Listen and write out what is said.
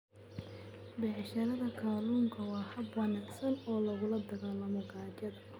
Beerashada kalluunka waa hab wanaagsan oo lagula dagaallamo gaajada.